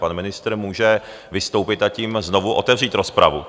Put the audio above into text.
Pan ministr může vystoupit, a tím znovu otevřít rozpravu.